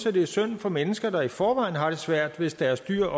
at det er synd for mennesker der i forvejen har det svært hvis deres dyr